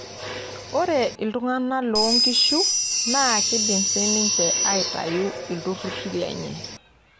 Ore iltungana loonkishu naa keidim siininche aitayu ilturruri lenye.